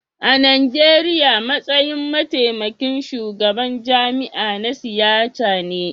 A Nijeriya, matsayin mataimakin shugaban jami'a na siyasa ne